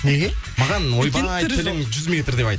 неге маған ойбай тілің жүз метр деп айт